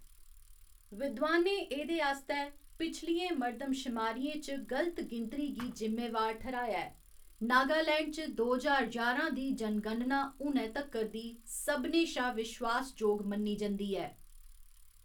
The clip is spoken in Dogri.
विद्वानें एह्‌‌‌दे आस्तै पिछलियें मर्दमशमारियें च गल्त गिनतरी गी जिम्मेवार ठैह्‌राया ऐ, नागालैंड च दो ज्हार ञारां दी जनगणना हुनै तक्कर दी सभनें शा विश्वास जोग मन्नी जंदी ऐ।